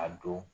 A don